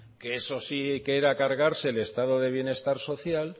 que eso sí que era cargarse el estado de bienestar social